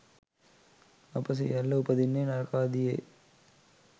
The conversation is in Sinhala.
අප සියල්ල උපදින්නේ නරකාදියේ